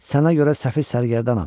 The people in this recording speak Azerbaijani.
Sənə görə səfil sərgərdanam.